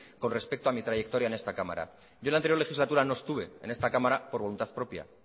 con respecto a mi trayectoria en esta cámara yo en la anterior legislatura no estuve en esta cámara por voluntad propia